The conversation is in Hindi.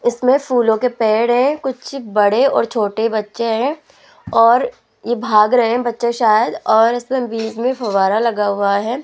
इसमें फूलों के पेड़ है कुछ बड़े और छोटे बच्चे हैं और ये भाग रहे हैं बच्चे शायद और इसमें बीच में फव्वारा लगा हुआ है।